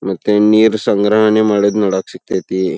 ಮತ್ತೆ ನೀರ ಸಂಗ್ರಹಣೆ ಮಾಡೋದು ನೋಡಕ್ಕ ಸಿಕ್ಕತ್ಯತಿ.